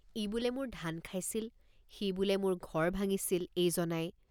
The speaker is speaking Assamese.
ই বোলে মোৰ ধান খাইছিল সি বোলে মোৰ ঘৰ ভাঙিছিল এইজনাই।